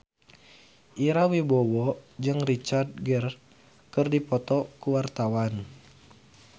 Ira Wibowo jeung Richard Gere keur dipoto ku wartawan